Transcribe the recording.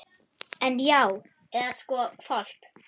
En. já, eða sko hvolp.